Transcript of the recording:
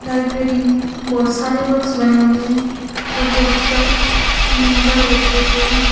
Library में बहुत सारे बॉक्स बने हुए हैं और बॉक्स पर नंबर लगे हुए हैं।